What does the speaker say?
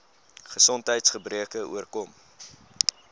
gesondheids gebreke oorkom